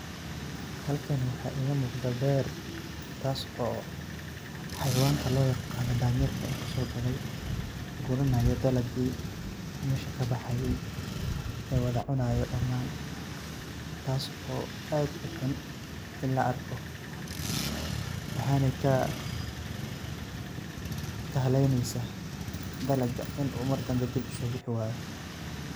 Halkan waxa igamuqda beer taas oo xayawanka loyaqano danyeerka intu sogaley guranayo dalagi meesha kabaxay oo wada cunayo damaan taas oo aad uxun inii laarko waxaney kahaleneysa dalaga inii oo mardambe dib usobixi wayo.